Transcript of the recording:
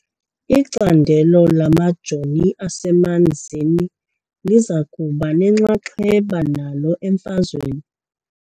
Icandelo lamajoni asemanzini liza kuba nenxaxheba nalo emfazweni .